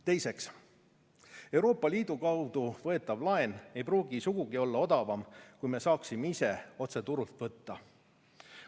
Teiseks, Euroopa Liidu kaudu võetav laen ei pruugi sugugi olla odavam kui see, mida me saaksime ise otse turult võtta.